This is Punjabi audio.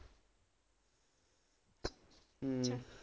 ਹਮ